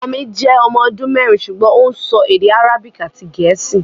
Ọmọ mi jẹ́ ọmọ ọdún mẹ́rin ṣùgbọ́n ó ń sọ èdè Arabic àti Gẹ̀ẹ́sì